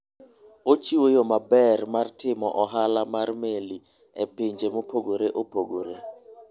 Ochiwo yo maber mar timo ohala mar meli e pinje mopogore opogore.